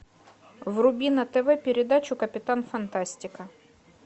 вруби на тв передачу капитан фантастика